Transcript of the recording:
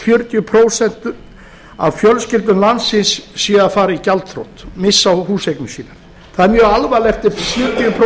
fjörutíu prósent af fjölskyldum landsins séu að fara í gjaldþrot missa húseignir sínar það er mjög alvarlegt ef sjötíu prósent